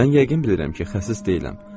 Mən yəqin bilirəm ki, xəsis deyiləm.